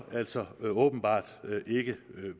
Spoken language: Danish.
altså åbenbart ikke